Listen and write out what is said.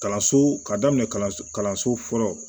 Kalanso ka daminɛ kalanso kalanso fɔlɔ